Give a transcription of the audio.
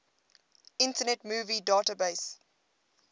internet movie database